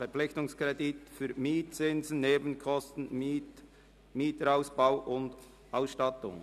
Verpflichtungskredit für Mietzins, Nebenkosten, Mieterausbau und Ausstattung».